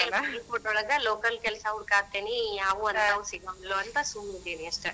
ಇಲ್ಲೇ ಬಾಗಲಕೋಟಿ ಒಳಗ ಲೋಕಲ್ ಕೆಲಸಾ ಹುಡಕಾತೇನಿ ಯಾವು ಅಂತಾವ್ ಸಿಗಂಗಿಲ್ಲ ಅಂತಾ ಸುಮ್ನ ಇದೀನಿ ಅಸ್ಟ.